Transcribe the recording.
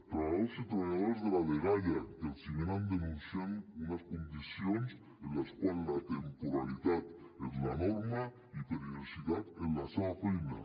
treballadors i treballadores de la dgaia que els venen denunciant unes condicions en les quals la temporalitat és la norma i perillositat en la seva feina